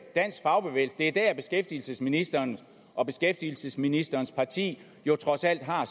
dansk fagbevægelse det er der beskæftigelsesministeren og beskæftigelsesministerens parti jo trods alt har